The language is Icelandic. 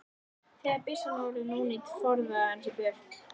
Þegar byssan var orðin ónýt forðaði hann sér burt.